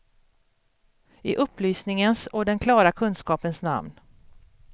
I upplysningens och den klara kunskapens namn.